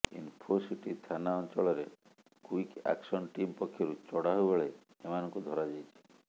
ଇନଫୋସିଟି ଥାନା ଅଞ୍ଚଳରେ quick action team ପକ୍ଷରୁ ଚଢ଼ଉ ବେଳେ ଏମାନଙ୍କୁ ଧରାଯାଇଛି